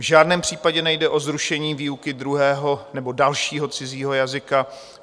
V žádném případě nejde o zrušení výuky druhého nebo dalšího cizího jazyka.